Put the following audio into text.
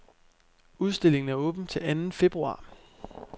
Udstillingen er åben til anden februar.